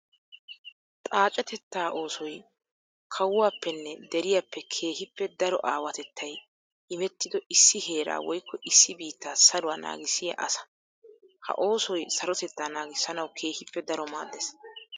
Xaacetetta oosoy kawuwappenne deriyappe keehippe daro aawatettay immettiddo issi heera woykko issi biitta saruwa naagisiya asaa. Ha oosoy sarotetta naagisanawu keehippe daro maades.